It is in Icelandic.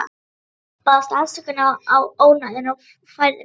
Baðst afsökunar á ónæðinu og færði mig.